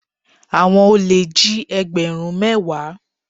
Àwọn olè jí egberun mẹ́wàá.